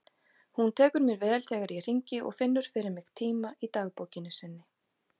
Hún tekur mér vel þegar ég hringi og finnur fyrir mig tíma í dagbókinni sinni.